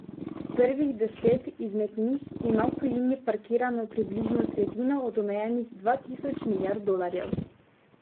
Prvih deset izmed njih ima v tujini parkirano približno tretjino od omenjenih dva tisoč milijard dolarjev.